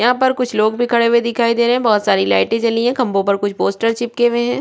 यहाँ पर कुछ लोक बही खड़े हुए दिखाई दे रहै है बहोत सारी लाइटी जलीये खंबो पर कुछ पोस्टर चिपके हुए है।